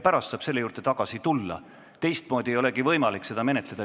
Siis saab selle juurde tagasi tulla, teistmoodi ei olegi võimalik seda menetleda.